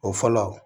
O fɔlɔ